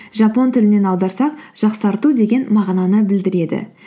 жапон тілінен аударсақ жақсарту деген мағынаны білдіреді